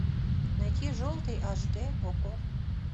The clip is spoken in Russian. найти желтый аш дэ окко